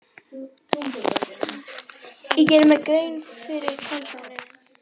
Ég gerði mér grein fyrir kaldhæðninni.